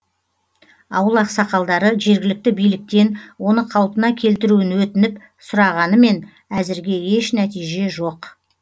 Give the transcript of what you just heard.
ауыл ақсақалдары жергілікті биліктен оны қалпына келтіруін өтініп сұрағанымен әзірге еш нәтиже жоқ